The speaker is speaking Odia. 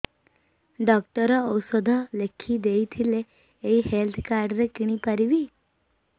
ଡକ୍ଟର ଔଷଧ ଲେଖିଦେଇଥିଲେ ଏଇ ହେଲ୍ଥ କାର୍ଡ ରେ କିଣିପାରିବି